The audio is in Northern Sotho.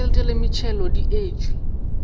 ditšhelete le metšhelo di etšwe